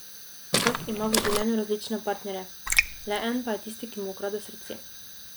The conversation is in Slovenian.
Vsak ima v življenju različne partnerje, le en pa je tisti, ki mu ukrade srce.